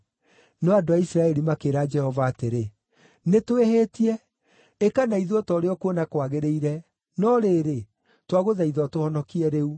No andũ a Isiraeli makĩĩra Jehova atĩrĩ, “Nĩtwĩhĩtie. Ĩka na ithuĩ o ta ũrĩa ũkuona kwagĩrĩire, no rĩrĩ, twagũthaitha ũtũhonokie rĩu.”